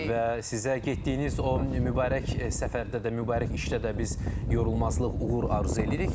Təşəkkür edirik bir daha və sizə getdiyiniz o mübarək səfərdə də mübarək işdə də biz yorulmazlıq, uğur arzu edirik.